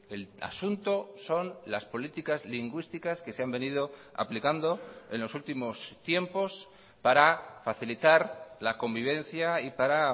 el asunto son las políticas lingüísticas que se han venido aplicando en los últimos tiempos para facilitar la convivencia y para